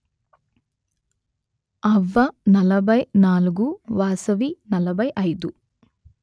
అవ్వ నలభై నాలుగు వాసవి నలభై అయిదు